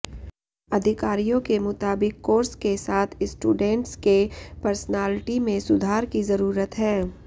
अधिकारियों के मुताबिक कोर्स के साथ स्टूडेंट्स के पर्सनालिटी में सुधार की जरूरत है